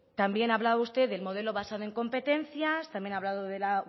también ha hablado usted del modelo basado en competencias también ha hablado de la